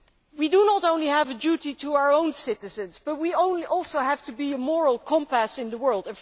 We do not only have a duty to our own citizens, we also have to be a moral compass in the world.